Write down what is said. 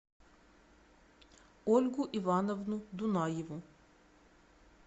ольгу ивановну дунаеву